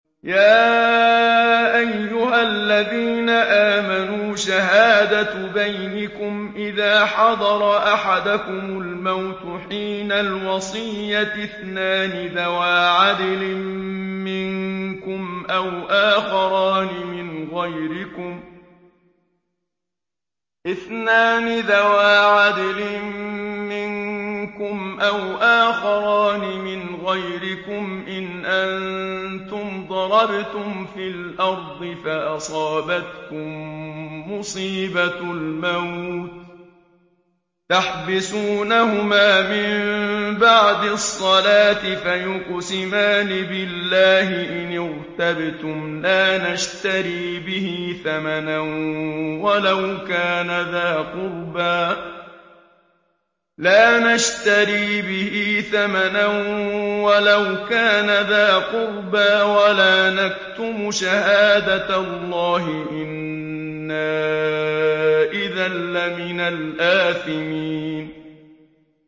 يَا أَيُّهَا الَّذِينَ آمَنُوا شَهَادَةُ بَيْنِكُمْ إِذَا حَضَرَ أَحَدَكُمُ الْمَوْتُ حِينَ الْوَصِيَّةِ اثْنَانِ ذَوَا عَدْلٍ مِّنكُمْ أَوْ آخَرَانِ مِنْ غَيْرِكُمْ إِنْ أَنتُمْ ضَرَبْتُمْ فِي الْأَرْضِ فَأَصَابَتْكُم مُّصِيبَةُ الْمَوْتِ ۚ تَحْبِسُونَهُمَا مِن بَعْدِ الصَّلَاةِ فَيُقْسِمَانِ بِاللَّهِ إِنِ ارْتَبْتُمْ لَا نَشْتَرِي بِهِ ثَمَنًا وَلَوْ كَانَ ذَا قُرْبَىٰ ۙ وَلَا نَكْتُمُ شَهَادَةَ اللَّهِ إِنَّا إِذًا لَّمِنَ الْآثِمِينَ